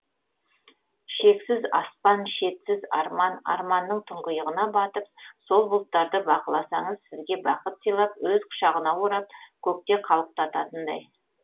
шексіз аспан шетсіз арман арманның тұңғиығына батып сол бұлттарды бақыласаңыз сізге бақыт сыйлап өз құшағына орап көкте қалықтататындай